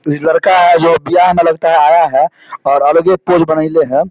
ई जो लड़का है लगता है बीयाह मे लगता है आया है और अलगे ही पोज बनेएले है।